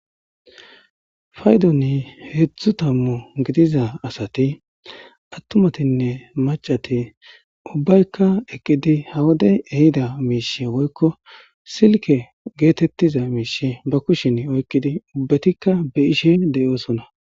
faydoni heedzdzu tammu gidiza asati attumatinne macati ubbaykka eqqidi hawodey ehida miishe woykko silke geetettiza miishe ba kushin oykqidi ubbetikka be ishe de7oosona